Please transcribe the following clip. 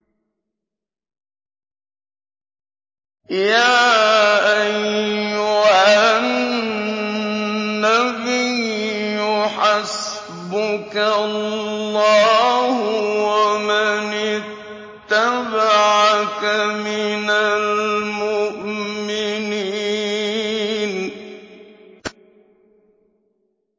يَا أَيُّهَا النَّبِيُّ حَسْبُكَ اللَّهُ وَمَنِ اتَّبَعَكَ مِنَ الْمُؤْمِنِينَ